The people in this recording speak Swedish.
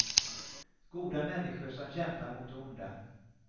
Goda människor som kämpar mot det onda.